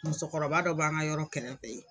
Musokɔrɔba dɔ b'an ka yɔrɔ kɛrɛfɛ yen.